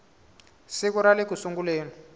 siku ra le ku sunguleni